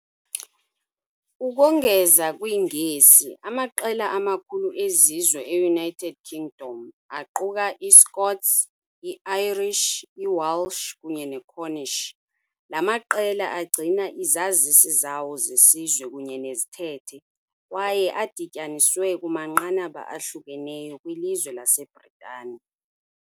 Ukongeza kwiNgesi, amaqela amakhulu ezizwe e- United Kingdom aquka iScots, iIrish, iWelsh kunye neCornish . La maqela agcina izazisi zawo zesizwe kunye nezithethe, kwaye adityaniswe kumanqanaba ahlukeneyo kwilizwe laseBritane.